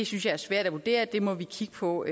synes jeg er svært at vurdere det må vi kigge på